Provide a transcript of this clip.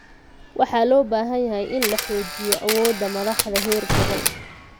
Waxaa loo baahan yahay in la xoojiyo awoodda madaxda heer gobol.